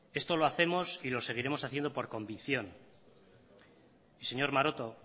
esto lo hacemos y lo seguiremos haciendo por convicción señor maroto